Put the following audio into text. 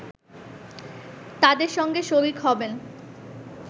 তাদের সঙ্গে শরিক হবেন